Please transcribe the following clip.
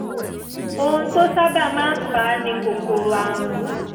ohun tó sábà máa ń fà á ni kòkòrò àrùn